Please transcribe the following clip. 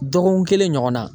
Dɔgɔkun kelen ɲɔgɔn na.